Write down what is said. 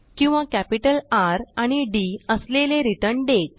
किंवा capital R आणि D असलेले रिटर्न्डेट